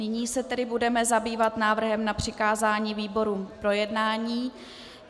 Nyní se tedy budeme zabývat návrhem na přikázání výborům k projednání.